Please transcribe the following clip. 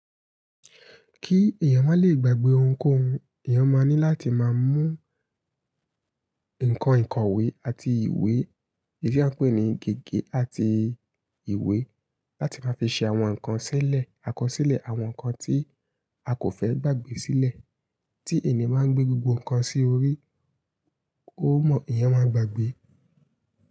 Kí èèyàn má lè gbàgbé ohunkóhun, èèyàn má ní láti má mú nǹkan ìkọ̀wé àti ìwé tí a ń pè ní gègé àti ìwé láti má fi ṣe àwọn nǹkan sílẹ̀, àkọsílẹ̀ àwọn nǹkan tí a kò fẹ́ gbàgbé sílẹ̀. Tí ènìyàn bá gbé gbogbo nǹkan sí orí, ó mọ̀ èèyàn máa gbàgbé.